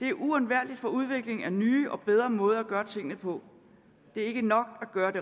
det er uundværligt for udviklingen af nye og bedre måder at gøre tingene på det er ikke nok at gøre det